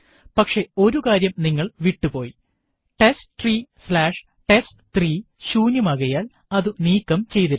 പക്ഷെ ഒരു കാര്യം നിങ്ങൾ വിട്ടുപോയി testtreeടെസ്റ്റ്3 ശൂന്യമാകയാൽ അതു നീക്കം ചെതിരുന്നു